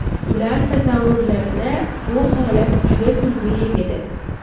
Ular tasavvurlarida bu holat juda kulgili edi.